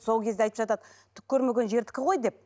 сол кезде айтып жатады түк көрмеген жердікі ғой деп